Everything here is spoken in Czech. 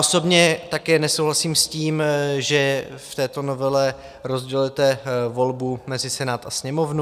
Osobně také nesouhlasím s tím, že v této novele rozdělujete volbu mezi Senát a Sněmovnu.